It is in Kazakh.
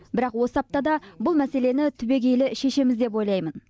бірақ осы аптада бұл мәселені түбегейлі шешеміз деп ойлаймын